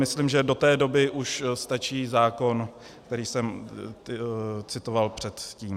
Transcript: Myslím, že do té doby už stačí zákon, který jsem citoval předtím.